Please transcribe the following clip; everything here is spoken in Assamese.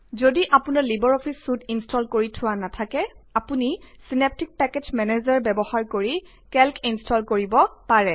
যদি অপোনাৰ লিবাৰ অফিচ চুইট ইনষ্টল কৰি থোৱা নেথাকে আপুনি চিনেপ্টিক পেকেজ মেনেজাৰ ব্যৱহাৰ কৰি কেল্ক ইনষ্টল কৰিব পাৰে